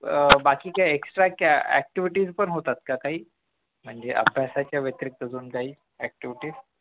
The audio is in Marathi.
अह बाकी काय extract activity पण होतात का काही म्हणजे अभ्यासाच्या व्यतिरिक्त काही अजून activities